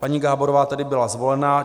Paní Gáborová tedy byla zvolena.